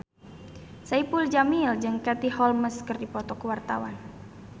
Saipul Jamil jeung Katie Holmes keur dipoto ku wartawan